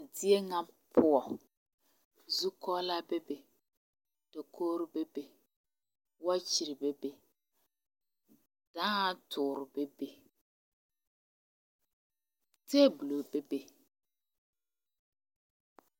Zie ŋa poɔ zukɔɔlɔ bebe dakogro bebe wɔɔkyire bebe dãã toore bebe tabulo bebe.